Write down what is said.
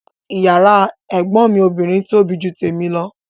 Yàrá ẹ̀gbọ́n mi obìnrin tóbi ju tèmi lọ